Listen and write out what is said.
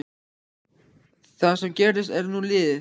Það sem gerðist er nú liðið.